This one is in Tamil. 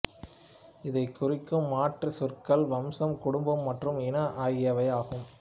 இதைக் குறிக்கும் மாற்றுச் சொற்கள் வம்சம் குடும்பம் மற்றும் இனம் ஆகியவையாகும்